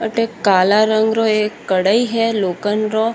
अठ काला रंग रो एक कढ़ाई है लोखंड रो।